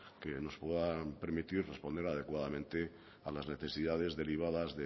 que nos puedan permitir responder adecuadamente a las necesidades derivadas